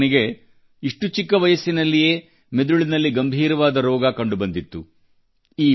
Kellen Song ನಿಗೆ ಇಷ್ಟು ಚಿಕ್ಕ ವಯಸ್ಸಿನಲ್ಲಿಯೇ ಮೆದುಳಿನಲ್ಲಿ ಗಂಭೀರವಾದ ರೋಗ ಕಂಡುಬಂದಿತ್ತು